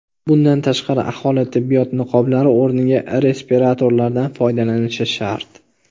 Bundan tashqari, aholi tibbiyot niqoblari o‘rniga respiratorlardan foydalanishi shart.